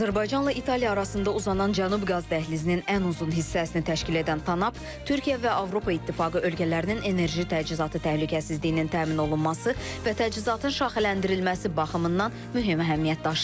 Azərbaycanla İtaliya arasında uzanan Cənub Qaz Dəhlizinin ən uzun hissəsini təşkil edən Tanap Türkiyə və Avropa İttifaqı ölkələrinin enerji təchizatı təhlükəsizliyinin təmin olunması və təchizatın şaxələndirilməsi baxımından mühüm əhəmiyyət daşıyır.